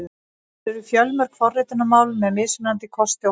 Til eru fjölmörg forritunarmál með mismunandi kosti og galla.